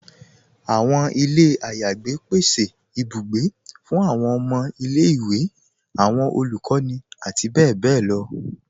Awọn ilẹ̀ ayégbẹ̀ pèsè ìbùgbẹ̀ fún awọn ọmọ ilẹ̀-iwe, awọn olukọni, àti bẹbẹ̀ lọ